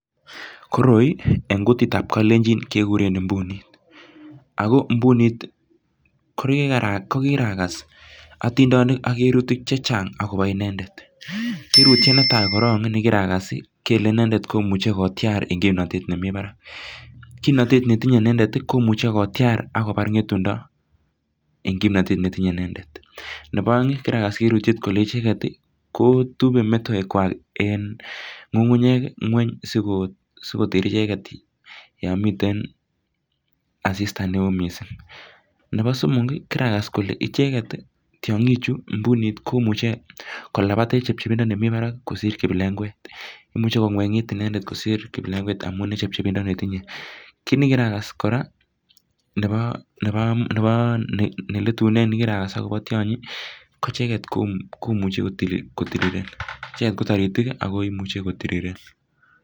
Koroi eng kutitab kalenjin kekuren imbunit, Ako imbunit kokirakas atindonik ak kirutik chechang akobo indendet, kirutiet netaa korong ne kirakas Ii kele inendet ne imuche kotyarin enn kimnotet nemi Barak, kimnotet netinye inendet ii komuche kotyar ak kobar ngetundo enn kimnotet netinye inendet, nebo aeng kirakas kirutiet kole icheket kotube metoek kwak enn ngungunyiek ngweny sikoter icheket yomiten asista neoo mising, nebo somok ii kirakas kole icheket ii tyongichu mbunit komuche kolabat eng chebchebindo nemi barak kosir kiplekwe, imuche kongwengit inendet kosir kiplekwet amun enn chechepindo netinye, kit nekirakas kora, nebo nebo, neletunen akobo tyonyi ko icheket komuche kotiriren, icheket ko taritik ako imuche kotiriren.